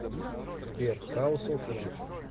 сбер хаус оф лав